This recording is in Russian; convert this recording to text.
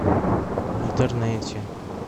в интернете